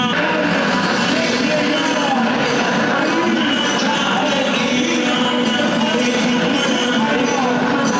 Ya Əli! Ya Əli! Kərbəla! Kərbəla! Heydər! Heydər! Heydər! Heydər!